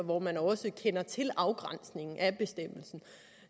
hvor man også kender til afgræsningen af bestemmelsen